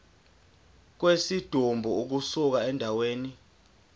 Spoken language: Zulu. kwesidumbu ukusuka endaweni